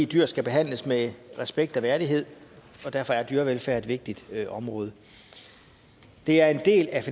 dyr skal behandles med respekt og værdighed og derfor er dyrevelfærd et vigtigt område det er en del af